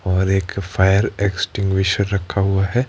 और एक fire extinguisher रखा हुआ है।